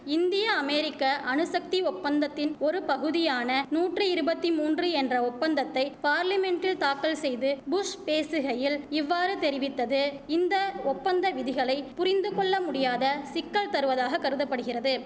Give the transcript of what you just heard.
இந்திய அமெரிக்க அணுசக்தி ஒப்பந்தத்தின் ஒருபகுதியான நூற்றி இருபத்தி மூன்று என்ற ஒப்பந்தத்தை பார்லிமென்டில் தாக்கல்செய்து புஷ் பேசுகையில் இவ்வாறு தெரிவித்தது இந்த ஒப்பந்த விதிகளை புரிந்து கொள்ளமுடியாத சிக்கல் தருவதாக கருத படுகிறது